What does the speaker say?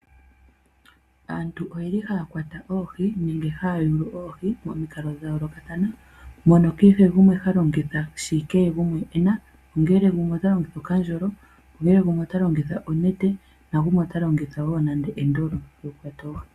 Aantu oye li haya kwata oohi nenge haya yulu oohi momikalo dhayoolokathana mono kehe gumwe halongitha shi kehe gumwe e na, ongele gumwe ota longitha okandjolo, ongele gumwe ota longitha onete, nagumwe ota longitha woo nande endolo lyoku kwata oohi.